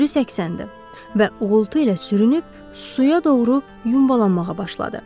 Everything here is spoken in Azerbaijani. Sürü səksəndi və uğultu ilə sürünüb suya doğru yumbalanmağa başladı.